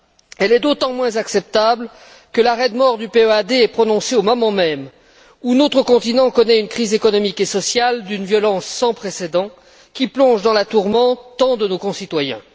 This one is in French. Elle est d'autant moins acceptable que l'arrêt de mort de ce plan est prononcé au moment même où notre continent connaît une crise économique et sociale d'une violence sans précédent, qui plonge dans la tourmente tant de nos concitoyens.